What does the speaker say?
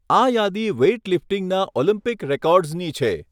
આ યાદી વેઈટલિફ્ટિંગના ઓલિમ્પિક રેકોર્ડ્સની છે.